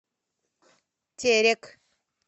терек